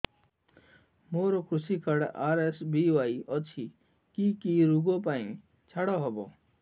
ମୋର କୃଷି card RSBY ଅଛି କି କି ଋଗ ପାଇଁ ଛାଡ଼ ହବ